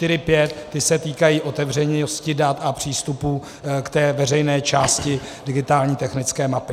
Ty se týkají otevřenosti dat a přístupu k té veřejné části digitální technické mapy.